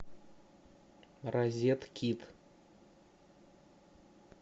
розеткид